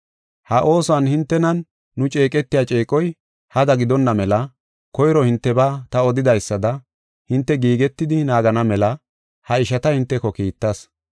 Ha oosuwan hintenan nu ceeqetiya ceeqoy hada gidonna mela koyro hintebaa ta odidaysada hinte giigetidi naagana mela ha ishata hinteko kiittas.